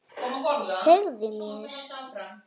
Segðu mér.